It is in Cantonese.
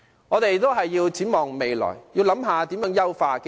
我們要展望未來，探討如何優化機制。